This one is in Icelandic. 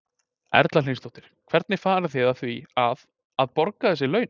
Erla Hlynsdóttir: Hvernig farið þið að því að, að borga þessi laun?